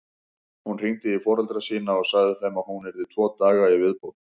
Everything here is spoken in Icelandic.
Hún hringdi í foreldra sína og sagði þeim að hún yrði tvo daga í viðbót.